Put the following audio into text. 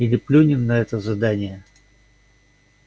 или плюнем на это задание